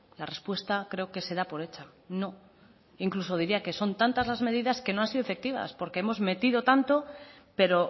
la respuesta creo que se da por hecha no incluso diría que son tantas las medidas que no han sido efectivas porque hemos metido tanto pero